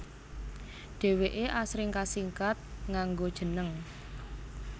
Dhèwèké asring kasingkat nganggo jeneng